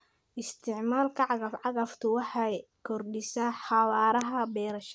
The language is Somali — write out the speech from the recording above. Isticmaalka cagaf-cagaftu waxa ay kordhisaa xawaaraha beerashada.